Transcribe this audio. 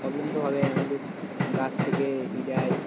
Problem তো হবেই আমাদের গাছ থেকে ই দেয়.